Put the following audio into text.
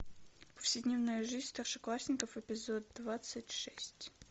повседневная жизнь старшеклассников эпизод двадцать шесть